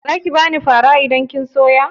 Zaki bani fara idan kin soya?